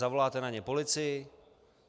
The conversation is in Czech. Zavoláte na ně policii?